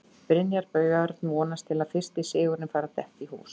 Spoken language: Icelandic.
Brynjar Björn vonast til að fyrsti sigurinn fari að detta í hús.